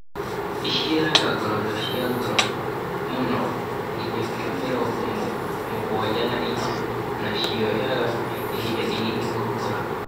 Ĩciaraga ngoroco cia goro mũno (nginya kilo mĩrongo mũgwanja na inyanya) na cioyaga ihinda inini gũkũra.